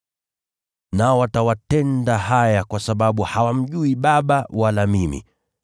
Nao watawatenda haya kwa sababu hawamjui Baba wala mimi.